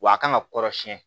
W'a kan ka kɔrɔsiyɛn